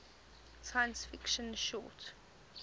science fiction short